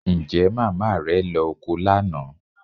Ǹjẹ́ màmá rẹ lọ oko lánàá?